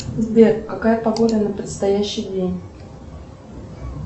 сбер какая погода на предстоящий день